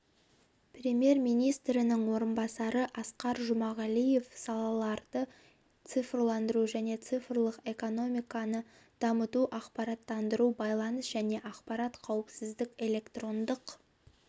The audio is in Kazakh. премьер-министрінің орынбасары асқар жұмағалиев салаларды цифрландыру және цифрлық экономиканы дамыту ақпараттандыру байланыс және ақпараттық қауіпсіздік электрондық